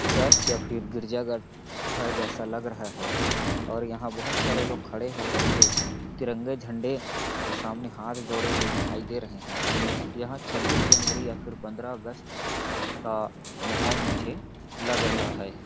Church या फिर गिरजाघर घर जैसा लग रहा है और यहाँ बहुत सारे लोग खड़े हो कर के तिरंगे झंडे के सामने हाथ जोड़े हुए दिखाई दे रहे है यह छब्बीस जनवरी या फिर पन्द्रह अगस्त का महौल मुझे लग रहा हैं।